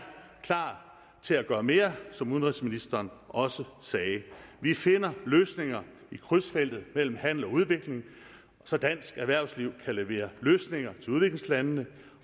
klar til at gøre mere som udenrigsministeren også sagde vi finder løsninger i krydsfeltet mellem handel og udvikling så dansk erhvervsliv kan levere løsninger til udviklingslandene